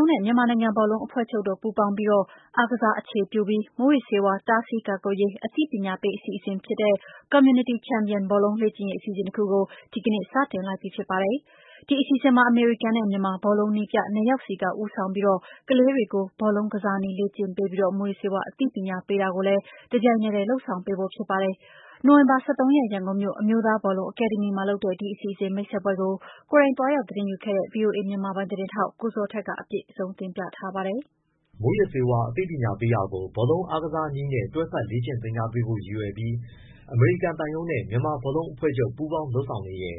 ုံးနဲ့ မြန်မာနိုင်ငံဘောလုံးအဖွဲ့ချုပ်တို့ ပူးပေါင်းပြီး အားကစားအခြေပြု မူးယစ်ဆေးဝါး တားဆီးကာကွယ်ရေး အသိပညာပေး အစီအစဉ်ဖြစ်တဲ့ Community Champion ဘောလုံးလေ့ကျင့်ရေး အစီအစဉ် တခုကို ဒီနေ့စတင်လိုက်ပြီဖြစ်ပါတယ်။ ဒီအစီစဉ်မှာ အမေရိကန်နဲ့ မြန်မာ ဘောလုံးနည်းပြ နှစ်ယောက်က ဦးဆောင်ပြီး ကလေးတွေကို ဘောလုံးကစားနည်းလေ့ကျင့်ပေးပြီး မူးယစ်ဆေးဝါး အသိပညာပေး တာကိုလည်း တပြိုင်နက်တည်းမှာ လုပ်ဆောင်ပေးဖို့ဖြစ်ပါတယ်။ နိုဝင်ဘာ ၁၃ရက်၊ ရန်ကုန်မြို့ အမျိုးသားဘောလုံးအကယ်ဒမီမှာ လုပ်တဲ့ ဒီအစီအစဉ်မိတ်ဆက်ပွဲကို ကိုယ်တိုင်သွားရောက် သတင်းယူခဲ့တဲ့ ဗွီအိုအေ မြန်မာပိုင်းသတင်းထောက် ကိုဇော်ထက်က အပြည့်အစုံကို ပြောပြပေးသွားမှာပါ။ မူးယစ်ဆေးဝါးအသိပညာပေးတာကို ဘောလုံးအားကစားနည်းနဲ့ တွဲဖက်လေ့ကျင့်ပေးဖို့ ရည်ရွယ်ပြီး အမေရိကန်သံရုံးနဲ့ မြန်မာဘောလုံးအဖွဲ့ချုပ်ပူးပေါင်း လုပ်ဆောင်နေတဲ့